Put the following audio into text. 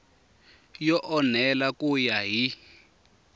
yo enela ku ya hi